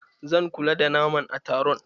Zan kula da naman a taron.